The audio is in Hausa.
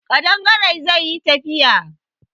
Ƙadangare zai yi tafiya